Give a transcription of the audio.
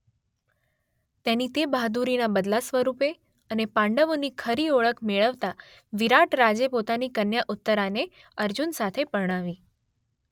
તેની તે બહાદુરીના બદલા સ્વરૂપે અને પાંડવોની ખરી ઓળખ મેળવતા વિરાટ રાજે પોતાની કન્યા ઉત્તરાને અર્જુન સાથે પરણાવી